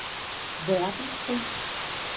verdenskrig